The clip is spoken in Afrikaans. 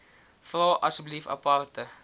vra asseblief aparte